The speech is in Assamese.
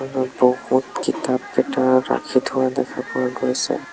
বহুত কিতাপ ভিতৰত ৰাখি থোৱা দেখা পোৱা গৈছে।